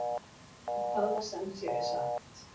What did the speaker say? En það var sem sé satt.